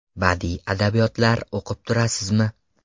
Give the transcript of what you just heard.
Badiiy adabiyotlar o‘qib turasizmi?